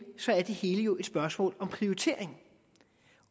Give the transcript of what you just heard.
er det hele jo et spørgsmål om prioritering